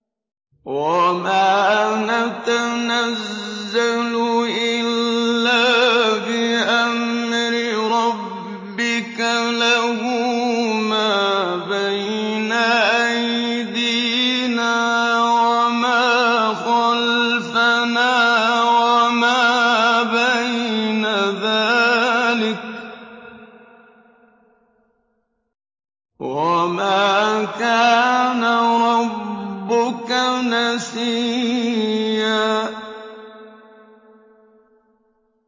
وَمَا نَتَنَزَّلُ إِلَّا بِأَمْرِ رَبِّكَ ۖ لَهُ مَا بَيْنَ أَيْدِينَا وَمَا خَلْفَنَا وَمَا بَيْنَ ذَٰلِكَ ۚ وَمَا كَانَ رَبُّكَ نَسِيًّا